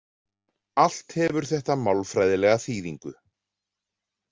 Allt hefur þetta málfræðilega þýðingu.